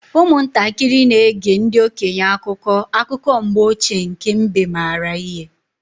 Ụmụntakịrị na-ege ndị okenye akụkọ akụkọ mgbe ochie nke mbe maara ihe.